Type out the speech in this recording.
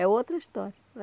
É outra história né.